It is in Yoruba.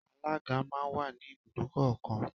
Alága má n wà ní ibùdókọ̀ kọ̀ọ̀kan.